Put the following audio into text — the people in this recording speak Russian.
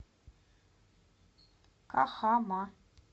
кахама